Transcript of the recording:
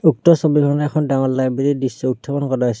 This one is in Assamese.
উক্ত ছবিখনে এখন ডাঙৰ লাইব্ৰেৰী ৰ দৃশ্য উত্থাপন কৰাছে।